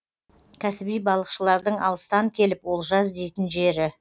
кәсіби балықшылардың алыстан келіп олжа іздейтін жері